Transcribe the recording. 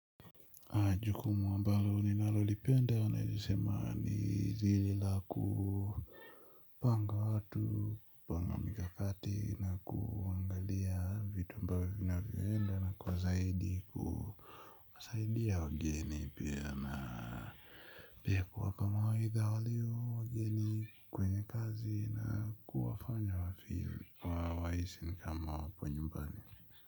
Aaaaa jukumu ambalo ninalo lipenda naweza sema ni lile la ku panga watu, panga mikakati na kuangalia vitu ambavyo vina vyoenda na kwa zaidi ku kuwasaidia wageni pia na pia kuwapa mawaidha walio wageni kwenye kazi na kuwafanya wafeel wa wahisi ni kama waponyumbani.